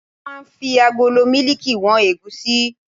Wọ́n máa ń fi agolo mílíìkì wọn ẹ̀gúsí